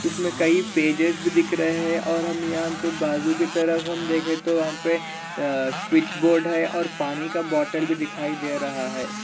उसमे कई पेजेस भी दिख रहे है और हम यहाँ पे बाजू की तरफ हम देखे तो यहाँ पे आ स्विच बोर्ड है और पानी का बोटल भी दिखाई दे रहा है।